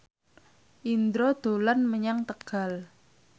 Indro dolan menyang Tegal